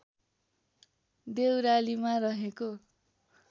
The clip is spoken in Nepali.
देउरालीमा रहेको